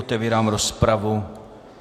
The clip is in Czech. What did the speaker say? Otevírám rozpravu.